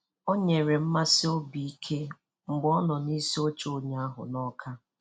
Ọ nyere mmasi obi ike mgbe ọnọ n'isi oche ụnyahụ n'ọka. ụnyahụ n'ọka.